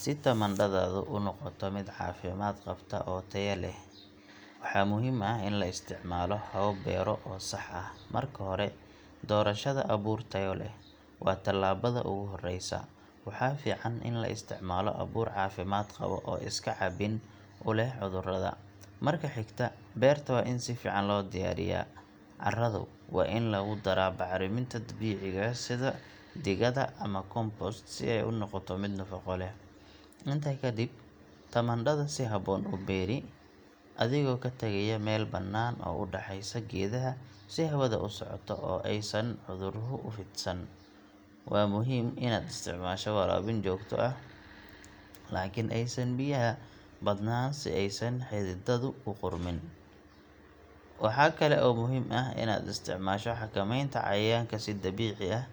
Si tamaandhadaadu u noqoto mid caafimaad qabta oo tayo leh, waxaa muhiim ah in la isticmaalo habab beero oo sax ah. Marka hore, doorashada abuur tayo leh waa tillaabada ugu horreysa. Waxaa fiican in la isticmaalo abuur caafimaad qaba oo iska caabin u leh cudurrada. Marka xigta, beerta waa in si fiican loo diyaariyaa. Carradu waa in lagu daro bacriminta dabiiciga ah sida digada ama compost si ay u noqoto mid nafaqo leh. Intaa kadib, tamaandhada si habboon u beeri, adigoo ka tagaya meel bannaan oo u dhaxaysa geedaha si hawada u socoto oo aysan cuduruhu u fidsan. Waa muhiim inaad isticmaasho waraabin joogto ah, laakiin aysan biyaha badnaan si aysan xididdadu u qudhmin. Waxaa kale oo muhiim ah inaad isticmaasho xakamaynta cayayaanka si dabiici ah,